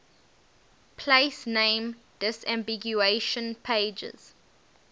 place name disambiguation pages